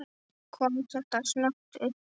Kom þetta snöggt uppá?